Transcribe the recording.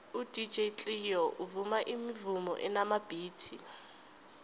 udj cleo uvuma imivumo enamabhithi